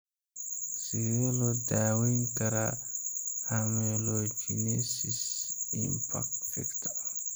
Sidee loo daweyn karaa amelogenesis imperfecta?